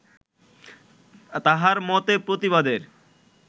তাঁহার মতে প্রতিবাদের